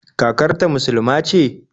Kakar ta musuluma ce?